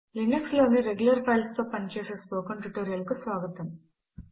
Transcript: Linux లోని regular files తో పని చేసే స్పోకెన్ ట్యుటోరియల్ కు స్వాగతము